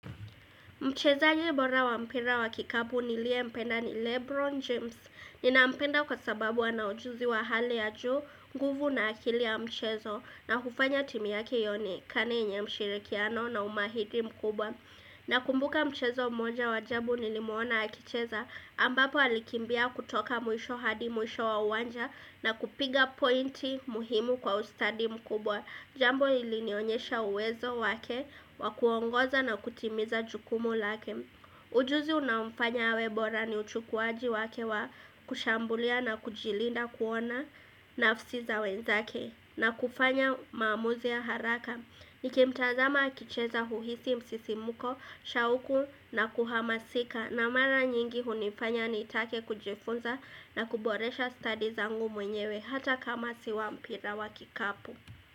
Mchezaji bora wa mpira wa kikabu niliye mpenda ni Lebron James. Nina mpenda kwa sababu ana ujuzi wa hali ya juu, nguvu na akili ya mchezo na hufanya timu yake ionekane yenye mshirikiano na umahiri mkubwa. Na kumbuka mchezo mmoja wa ajabu nilimuona akicheza ambapo alikimbia kutoka mwisho hadi mwisho wa uwanja na kupiga pointi muhimu kwa ustadi mkubwa. Jambo lilinionyesha uwezo wake wakuongoza na kutimiza jukumu lake ujuzi unaomfanya awe bora ni uchukuwaji wake wa kushambulia na kujilinda kuona nafsi za wenzake na kufanya maamuzi ya haraka Nikimtazama akicheza huhisi msisimuko, shauku na kuhamasika na mara nyingi hunifanya nitake kujifunza na kuboresha stadi zangu mwenyewe hata kama siwa mpira wa kikapu.